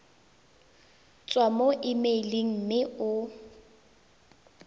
tswa mo emeileng mme o